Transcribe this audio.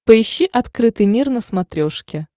поищи открытый мир на смотрешке